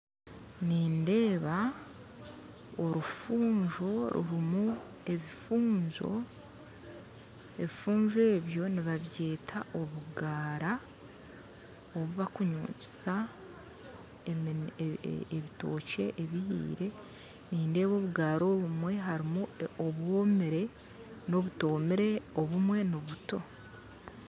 Nindeeba orufunjo rurimu ebifunjo ebifunjo ebyo nibabyeta obugaara obu bakunyukyisa ebitookye ebihire nindeeba obugara obumwe harimu obwomire n'obutomire obumwe nibuto